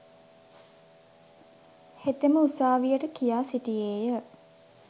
හෙතෙම උසාවියට කියා සිටියේය.